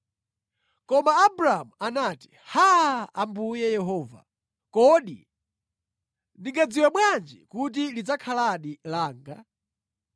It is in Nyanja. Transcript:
Koma Abramu anati, “Haa! Ambuye Yehova, kodi ndingadziwe bwanji kuti lidzakhaladi langa?”